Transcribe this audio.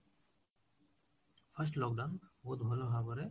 first lockdown ବହୁତ ଭଲ ଭାବରେ